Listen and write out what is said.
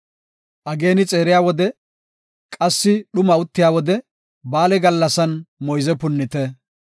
Ageeni xeeriya wode, qassi dhuma uttiya wode, ba7aale gallasan moyze punnite.